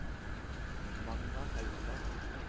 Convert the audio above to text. Magna Haugland